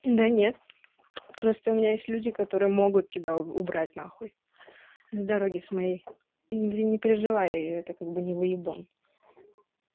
да нет просто у меня есть люди которые могут тебя убрать нахуй са дороги с моей это ты не переживай это как бы не выебон